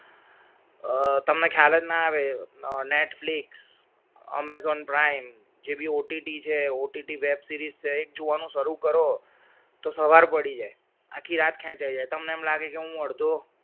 અ તમને ખ્યાલ જ ના આવે netflix amazon prime જેવી OTT છે OTT web series છે જોવાનું શરૂ કરો તો સવાર પડી જાય આખી રાત ખેંચાઈ જાય તમને એમ લાગે કે હું અડધો અ